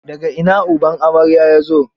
Da ga ina uban amarya ya zo?